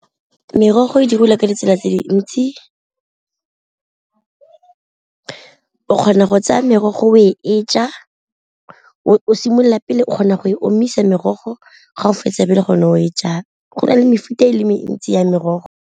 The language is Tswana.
Merogo e dirisiwa ka ditsela tse dintsi o kgona go tsaya merogo o e ja, o simolola pele o kgona go e omisa merogo ga o fetsa pele gone o e jang, go na le mefuta e le mentsi ya merogo.